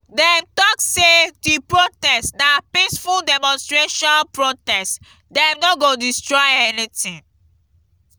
dem tok sey di protest na peaceful demonstration protest dem no go destroy anytin.